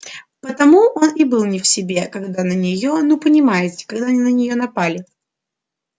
потому он и был не в себе когда на неё ну понимаете когда на неё напали